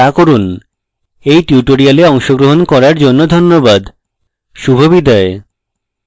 এই tutorial অংশগ্রহণ করার জন্য ধন্যবাদ শুভবিদায়